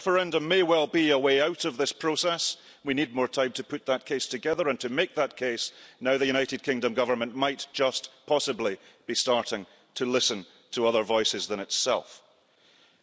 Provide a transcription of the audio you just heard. A referendum may well be a way out of this process we need more time to put that case together and to make that case now that the United Kingdom Government might just possibly be starting to listen to voices other than its own.